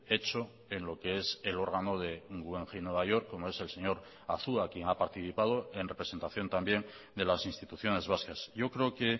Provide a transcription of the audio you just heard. hecho en lo que es el órgano de guggenheim nueva york como es el señor azua quien ha participado en representación también de las instituciones vascas yo creo que